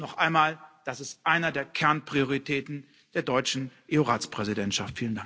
Und noch einmal Das ist eine der Kernprioritäten der deutschen EU Ratspräsidentschaft.